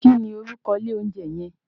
Kí ni orúkọ ilé oúnjẹ yẹn?